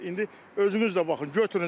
İndi özünüz də baxın, götürün zəhmət olmasa.